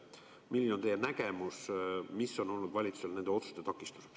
Milline on teie nägemus, mis on takistanud valitsusel neid otsuseid teha?